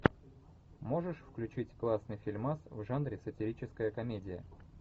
можешь включить классный фильмас в жанре сатирическая комедия